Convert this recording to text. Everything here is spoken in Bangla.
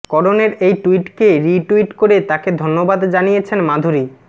করণের এই ট্যুইটকে রিট্যুইট করে তাকে ধন্যবাদ জানিয়েছেন মাধুরী